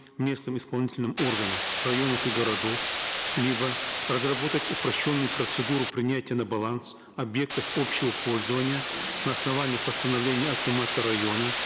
местным исполнительным органом районов и городов либо разработать упрощенную процедуру принятия на баланс объектов общего пользования на основании постановления акимата района